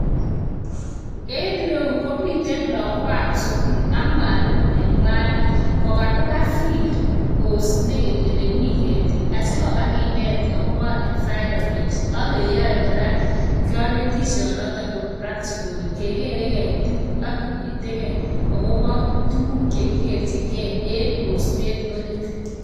Eng ireu komite lagokab skull ak mwalimo ne kwanet ole kakiba field osinet ole mi ketik asi koba kinet akobo environment ak keyoe kora kanetisionotok ko practical kegerei ketik ak kinetigei akobo tukuk chekigerjigei eng osinet orit.